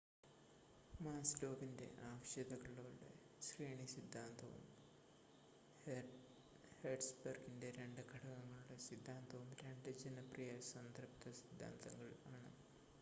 മാസ്‌ലോവിൻ്റെ ആവശ്യകതകളുടെ ശ്രേണി സിദ്ധാന്തവും ഹേർട്സ്ബർഗിൻ്റെ രണ്ട് ഘടകങ്ങളുടെ സിദ്ധാന്തവും രണ്ട് ജനപ്രിയ സംതൃപ്ത സിദ്ധാന്തങ്ങൾ ആണ്